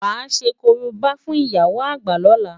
Wàá ṣe korobá fún ìyá àgbà lóla!